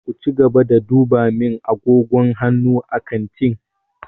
Ku cigaba da duba min agogon hannu a kantin!